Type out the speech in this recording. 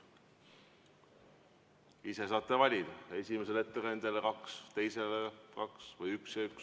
Ise saate valida: esimesele ettekandjale kaks, teisele kaks või üks ja üks.